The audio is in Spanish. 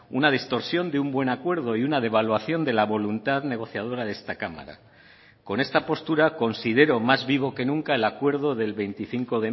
una distorsión de un buen acuerdo y una devaluación de la voluntad negociadora de esta cámara con esta postura considero más vivo que nunca el acuerdo del veinticinco